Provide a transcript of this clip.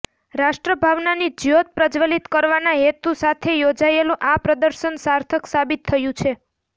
રાષ્ટ્રભાવનાની જ્યોત પ્રજ્વલિત કરવાના હેતુ સાથે યોજાયેલું આ પ્રદર્શન સાર્થક સાબિત થયું છે